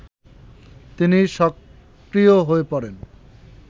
তিনি সক্রিয় হয়ে পড়েন